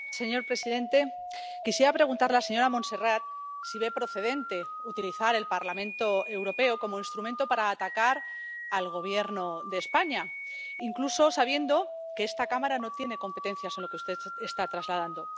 Señor presidente, quisiera preguntarle a la señora Montserrat si ve procedente utilizar el Parlamento Europeo como instrumento para atacar al Gobierno de España, incluso sabiendo que esta Cámara no tiene competencias en lo que usted está trasladando.